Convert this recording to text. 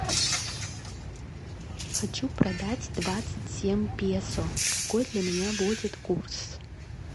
хочу продать двадцать семь песо какой для меня будет курс